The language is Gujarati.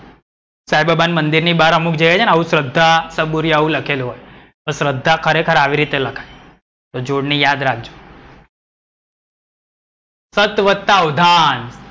સાઈ બાબા ની મંદિર ની બાર અમુક જે હોય છે ને આવું શ્રદ્ધા સબૂરી આવું લખેલું હોય. તો શ્રદ્ધા ખરેખર આવી રીતે લખાય. તો જોડણી આયયાદ રાખજો. સત વત્તા વધાન.